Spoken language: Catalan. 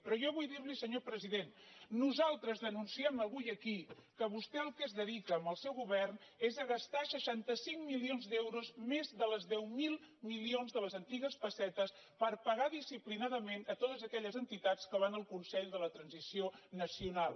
però jo vull dir li senyor president nosaltres denunciem avui aquí que vostè al que es dedica amb el seu govern és a gastar seixanta cinc milions d’euros més dels deu mil milions de les antigues pessetes per pagar disciplinadament a totes aquelles entitats que van al consell de la transició nacional